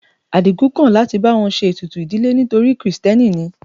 Adigun kò láti bá wọn ṣe ètùtù ìdílé torí krìstẹ́nì ni.